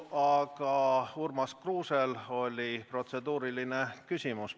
Aga Urmas Kruusel oli protseduuriline küsimus.